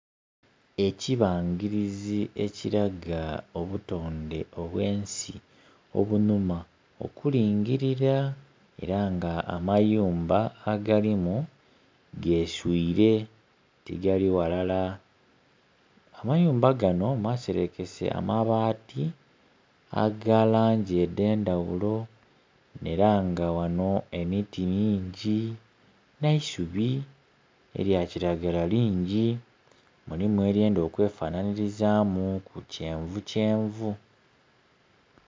Ekibangirizi ekilaga obutonde obwensi obunhuma okulingilira era nga amayumba agalimu geswire tigali ghalala. Amayumba gano maserekese amabaati aga langi edh'endhaghulo era nga ghano emiti mingi n'eisubi elya kiragala lingi, mulimu elyenda okwefanhiriza mu ku kyenvu kyenvu.